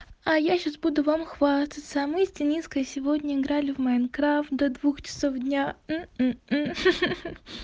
а я сейчас буду вам хвастаться мы с дениской сегодня играли в майнкрафт до двух часов дня